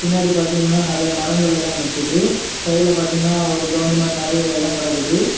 பின்னாடி பாத்தீங்கனா நெறைய மரங்கள் எல்லா நிக்குது சைடுல பாத்தீங்கனா ஒரு கிரவுண்ட் மாதிரி நெறைய எடம் கடக்குது.